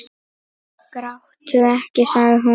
Gráttu ekki, sagði hún.